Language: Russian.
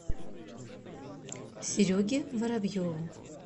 сереге воробьеву